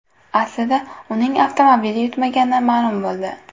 Aslida uning avtomobil yutmagani ma’lum bo‘ldi .